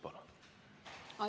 Palun!